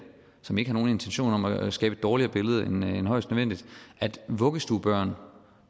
som ikke har nogen intentioner om at skabe et dårligere billede end højst nødvendigt at vuggestuebørn